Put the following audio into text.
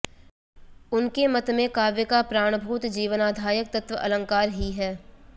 उनके मत में काव्य का प्राण भूत जीवनाधायक तत्व अलंकार ही है